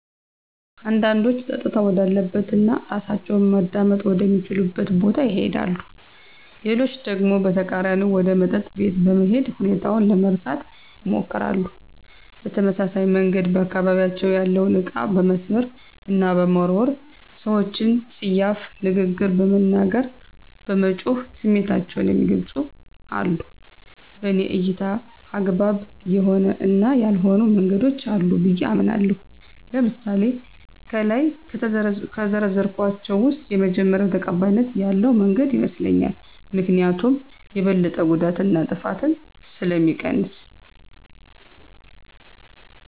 አንዳንዶች ፀጥታ ወዳለበት እና እራሳቸውን ማዳመጥ ወደ ሚችሉበት ቦታ ይሄዳሉ። ሌሎች ደግሞ በተቃራኒው ወደ መጠጥ ቤት በመሄድ ሁኔታውን ለመርሳት ይሞክራሉ። በተመሳሳይ መንገድ በአካባቢያቸው ያለውን እቃ በመስበር እና በመወርወር፣ ሰወችን ፀያፍ ንግግር በመናገር፣ በመጮህ ስሜታቸውን የሚገልፁም አሉ። በኔ እይታ አግባብ የሆኑ እና ያልሆኑ መንገዶች አሉ ብየ አምናለሁ። ለምሳሌ ከላይ ከዘረዘርኳቸው ውስጥ የመጀመሪው ተቀባይነት ያለው መንገድ ይመስለኛል። ምክኒያቱም የበለጠ ጉዳትን እና ጥፋትን ስለሚቀንስ።